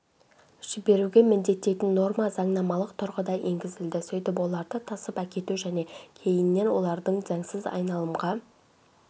жіберуге міндеттейтін норма заңнамалық тұрғыда енгізілді сөйтіп оларды тасып әкету және кейіннен олардың заңсыз айналымға